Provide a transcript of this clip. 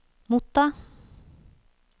motta